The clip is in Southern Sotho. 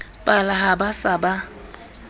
pala ha ba se ba